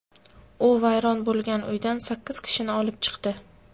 U vayron bo‘lgan uydan sakkiz kishini olib chiqdi.